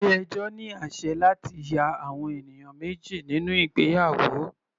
Ilé ẹjọ́ ní àsẹ̀ láti ya àwọn ènìyàn méjì nínú ìgbéyàwó.